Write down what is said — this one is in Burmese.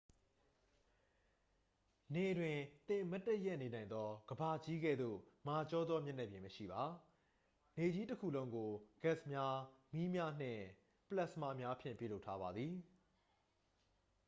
နေတွင် သင်မတ်တပ်ရပ်နေနိုင်သော ကမ္ဘာကြီးကဲ့သို့ မာကျောသောမျက်နှာပြင်မရှိပါ နေကြီးတစ်ခုလုံးကို ဂတ်စ်များ မီးများနှင့် ပလက်စမာများဖြင့် ပြုလုပ်ထားပါသည်